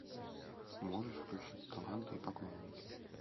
можешь включить таланты и поклонники